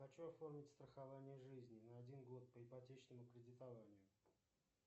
хочу оформить страхование жизни на один год по ипотечному кредитованию